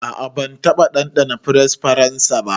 A'a ban taba dandana fries faransa ba.